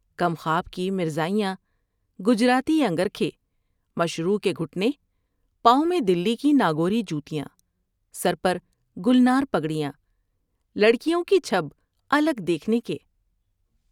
کم خواب کی مرزائیاں ، گجراتی انگر کھے ، مشروع کے گھٹنے ، پاؤں میں دلی کی ناگوری جوتیاں ، سر پر گلنار پگڑیاں لڑکیوں کی چب الگ دیکھنے کے